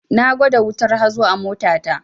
Na gwada wutar hazo a mota ta